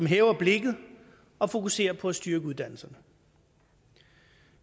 hæver blikket og fokuserer på at styrke uddannelserne